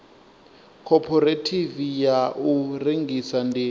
khophorethivi ya u rengisa ndi